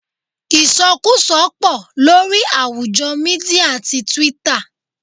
Isokuso pò lórí àwùjọ Mídíà tí Twitter.